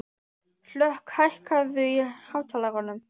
Hlökk, hækkaðu í hátalaranum.